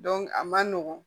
a man nɔgɔn